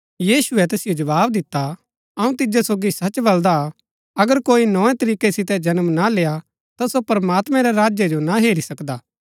यीशुऐ तैसिओ जवाव दिता अऊँ तिजो सोगी सच बलदा अगर कोई नोए तरीकै सितै ना जन्म लेआ ता सो प्रमात्मैं रै राज्य जो ना हेरी सकदा